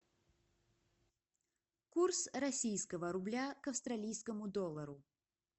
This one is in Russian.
курс российского рубля к австралийскому доллару